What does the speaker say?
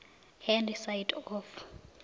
hand side of